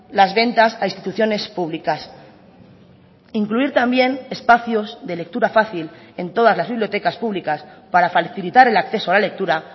las ventas a instituciones públicas incluir también espacios de lectura fácil en todas las bibliotecas públicas para facilitar el acceso a la lectura